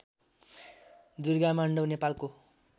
दुर्गामाण्डौँ नेपालको